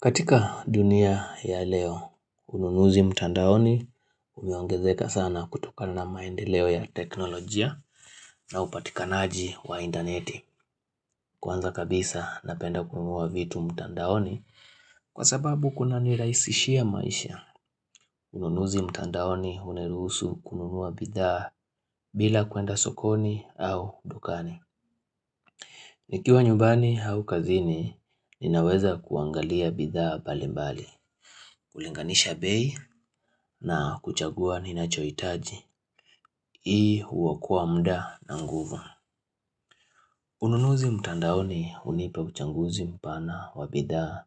Katika dunia ya leo, ununuzi mtandaoni umeongezeka sana kutokana na maendeleo ya teknolojia na upatikanaji wa intaneti. Kwanza kabisa napenda kununua vitu mtandaoni kwasababu kunanirahisishia maisha. Ununuzi mtandaoni huniruhusu kununua bidhaa bila kuenda sokoni au dukani. Nikiwa nyumbani au kazini, ninaweza kuangalia bidhaa mbalimbali. Kulinganisha bei na kuchagua ninachohitaji Hii huokoa muda na nguvu Ununuzi mtandaoni hunipa uchaguzi mpana wa bidhaa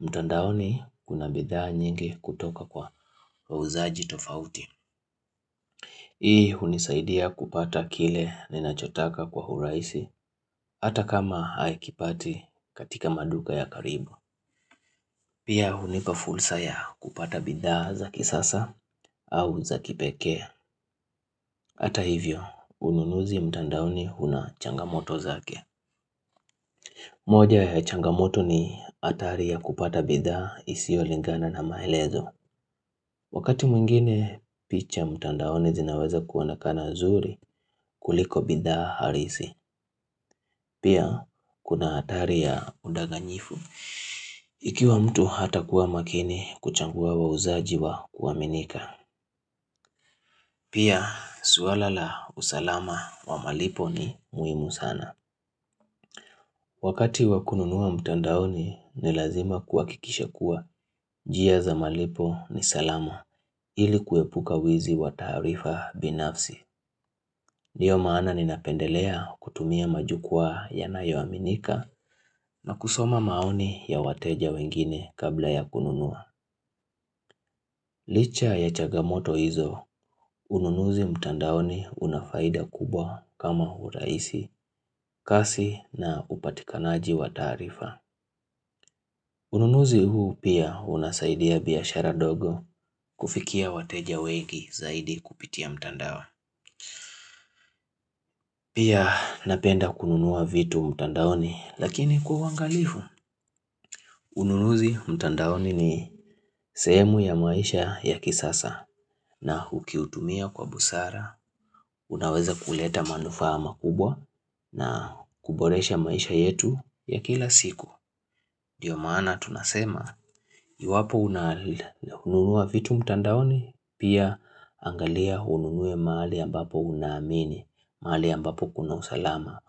mtandaoni kuna bidhaa nyingi kutoka kwa wauzaji tofauti Hii hunisaidia kupata kile ninachotaka kwa urahisi Hata kama haikipati katika maduka ya karibu Pia hunipa fursa ya kupata bidhaa za kisasa au za kipekee Hata hivyo, ununuzi mtandaoni una changamoto zake. Moja ya changamoto ni hatari ya kupata bidhaa isiolingana na maelezo. Wakati mwingine picha mtandaoni zinaweza kuonekana zuri kuliko bidhaa halisi. Pia, kuna hatari ya udanganyifu. Ikiwa mtu hatakuwa makini kuchagua wauzaji wa kuaminika. Pia, suala la usalama wa malipo ni muhimu sana. Wakati wa kununua mtandaoni ni lazima kuhakikisha kuwa njia za malipo ni salama ili kuepuka wizi wa taarifa binafsi. Ndiyo maana ninapendelea kutumia majukwaa yanayoaminika na kusoma maoni ya wateja wengine kabla ya kununua. Licha ya changamoto hizo, ununuzi mtandaoni unafaida kubwa kama urahisi, kasi na upatikanaji wa taarifa. Ununuzi huu pia unasaidia biashara ndogo kufikia wateja wengi zaidi kupitia mtandao. Pia napenda kununua vitu mtandaoni lakini kwa uangalifu. Ununuzi mtandaoni ni sehemu ya maisha ya kisasa na ukiutumia kwa busara. Unaweza kuleta manufaa makubwa na kuboresha maisha yetu ya kila siku. Ndiyo maana tunasema, iwapo unanunua vitu mtandaoni, pia angalia ununue mahali ambapo unaamini, mahali ambapo kuna usalama.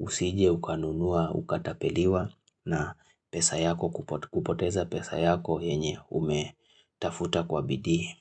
Usije ukanunua, ukatapeliwa na pesa yako kupoteza pesa yako yenye umetafuta kwa bidii.